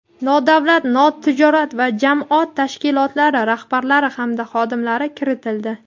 nodavlat notijorat va jamoat tashkilotlari rahbarlari hamda xodimlari kiritildi.